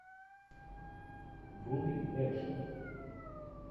вруби экшен